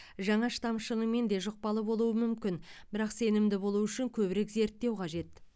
жаңа штам шынымен де жұқпалы болуы мүмкін бірақ сенімді болу үшін көбірек зерттеу қажет